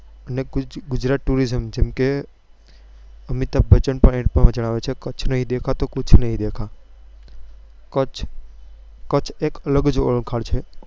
એટલે ગુજરાત tourism જેમ કે અમિતાભ બચ્ચન પણ add જ આવે છે કચ્છ નહિ દેખા તો કુછ નહિ દેખા